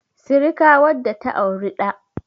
sirika wadda ta auri da